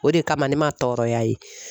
O de kama ne ma tɔɔrɔya ye.